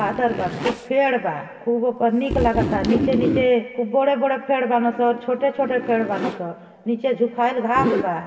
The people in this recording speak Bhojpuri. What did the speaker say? बा खूब पेड़ बा। खूब पअ निक लगता नीचे नीचे खूब बड़े-बड़े पेड़ बनसन और छोटे-छोटे पेड़ बनसन नीचे जुकाएल घांस बा।